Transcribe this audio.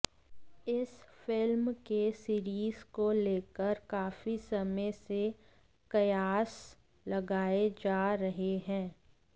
इस फिल्म के सीरीज को लेकर काफी समय से कयास लगाए जा रहे थे